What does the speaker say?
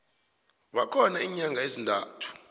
bakhona iinyanga ezintathu